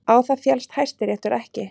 Á það féllst Hæstiréttur ekki